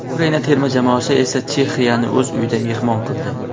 Ukraina terma jamoasi esa Chexiyani o‘z uyida mehmon qildi.